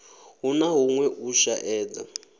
hu na huṅwe u shaedza